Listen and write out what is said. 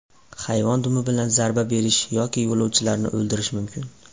Hayvon dumi bilan zarba berishi yoki yo‘lovchilarni o‘ldirishi mumkin.